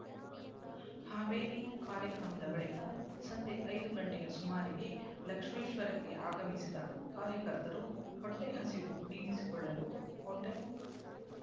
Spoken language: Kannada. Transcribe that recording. ಹಾವೇರಿ ಕಾರ್ಯಕ್ರಮದ ಬಳಿಕ ಸಂಜೆ ಐದು ಗಂಟೆಯ ಸುಮಾರಿಗೆ ಲಕ್ಷ್ಮೇಶ್ವರಕ್ಕೆ ಆಗಮಿಸಿದ ಕಾರ್ಯಕರ್ತರು ಹೊಟ್ಟೆ ಹಸಿವು ನೀಗಿಸಿಕೊಳ್ಳಲು ಹೋಟೆಲ್